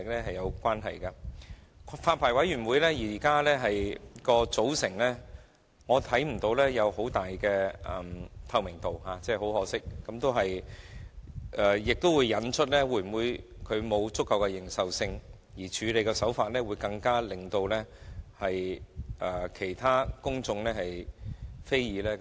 很可惜，我看不到發牌委員會的組成具有很大的透明度，而這亦將引發發牌委員會有否足夠認受性的問題，並導致其處理手法引起公眾非議。